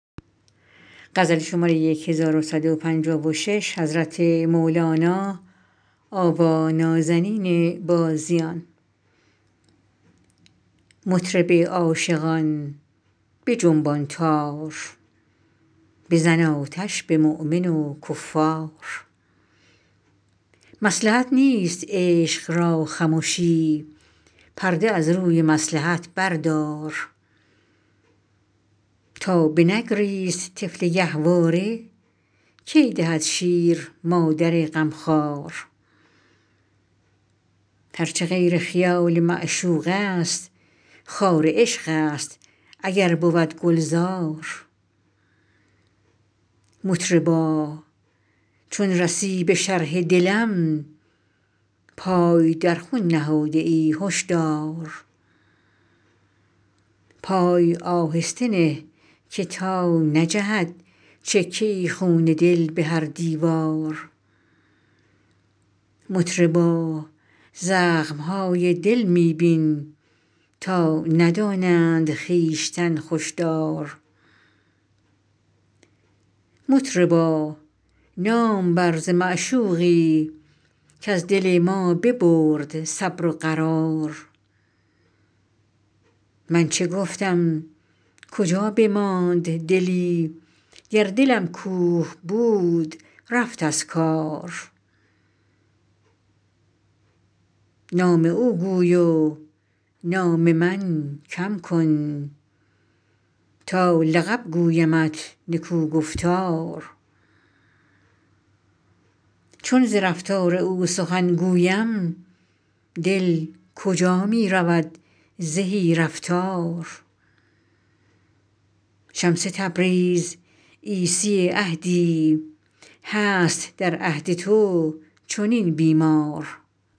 مطرب عاشقان بجنبان تار بزن آتش به مؤمن و کفار مصلحت نیست عشق را خمشی پرده از روی مصلحت بردار تا بنگریست طفل گهواره کی دهد شیر مادر غمخوار هر چه غیر خیال معشوقست خار عشقست اگر بود گلزار مطربا چون رسی به شرح دلم پای در خون نهاده ای هش دار پای آهسته نه که تا نجهد چکه ای خون دل به هر دیوار مطربا زخم های دل می بین تا ندانند خویشتن خوش دار مطربا نام بر ز معشوقی کز دل ما ببرد صبر و قرار من چه گفتم کجا بماند دلی گر دلم کوه بود رفت از کار نام او گوی و نام من کم کن تا لقب گویمت نکوگفتار چون ز رفتار او سخن گویم دل کجا می رود زهی رفتار شمس تبریز عیسی عهدی هست در عهد تو چنین بیمار